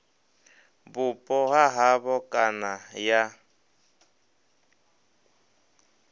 vhupo ha havho kana ya